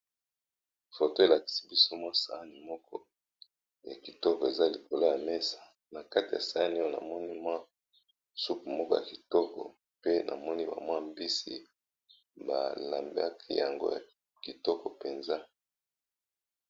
Foto elakisi biso mwa sani moko ya kitoko eza likolo ya mesa na kati ya sani oyo na moni mwa supe moko ya kitoko pe na moni ba mwa mbisi ba lambaki yango ya kitoko mpenza.